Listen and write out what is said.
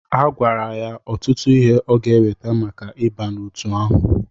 Ha gwara ya ọtụtụ ihe ọ gá eweta maka ịba n'otu ahụ.